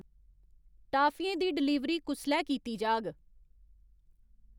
टाफियें दी डलीवरी कुसलै कीती जाग ?